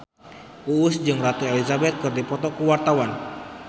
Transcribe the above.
Uus jeung Ratu Elizabeth keur dipoto ku wartawan